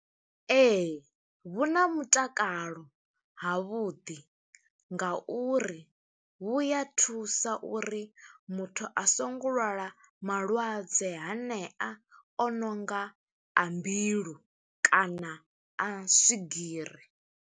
Ee. vhu na mutakalo havhuḓi, nga uri vhu ya thusa uri muthu a songo lwala malwadze hanea o nonga a mbilu, kana a swigiri.